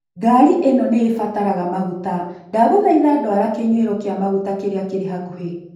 Ngari ĩno nĩ ĩbataraga maguta, ndagũthaitha dwara kinyũero kĩa maguta kĩrĩa kĩrĩ hakuhĩ